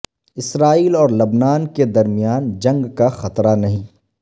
اسرائیل اور لبنان کے درمیان جنگ کا خطرہ نہیں